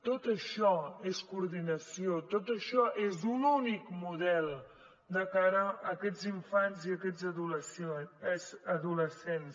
tot això és coordinació tot això és un únic model de cara a aquests infants i aquests adolescents